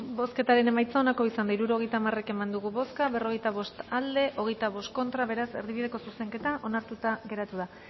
bozketaren emaitza onako izan da hirurogeita hamar eman dugu bozka berrogeita bost boto aldekoa veinticinco contra beraz erdibideko zuzenketa onartuta geratu da